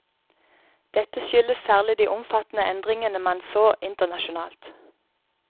Dette skyldes særlig de omfattende endringene man så internasjonalt.